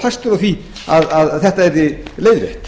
fastur á því að þetta yrði leiðrétt